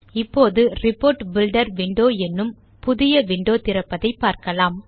இப்போது report builder window என்னும் புதிய விண்டோ திறப்பதை பார்க்கலாம்